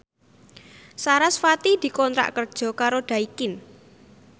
sarasvati dikontrak kerja karo Daikin